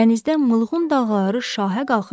Dənizdə mığqın dağları şahə qalxır.